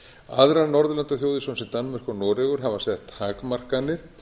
aðrar norðurlandaþjóðir svo sem danmörk og noregur hafa sett takmarkanir